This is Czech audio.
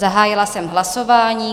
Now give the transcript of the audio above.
Zahájila jsem hlasování.